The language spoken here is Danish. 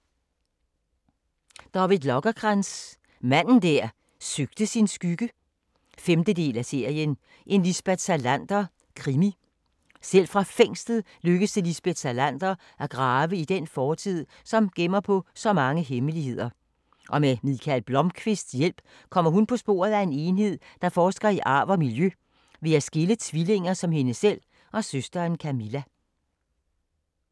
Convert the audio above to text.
Lagercrantz, David: Manden der søgte sin skygge 5. del af serien En Lisbeth Salander krimi. Selv fra fængslet lykkes det Lisbeth Salander at grave i den fortid, som gemmer på så mange hemmeligheder, og med Mikael Blomkvists hjælp kommer hun på sporet af en enhed, der forsker i arv og miljø ved at skille tvillinger som hende selv og søsteren Camilla. Punktbog 418229 2018. 11 bind.